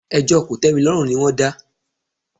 Ẹjọ́ kòtẹ́milọ́rùn ni wọ́n dá.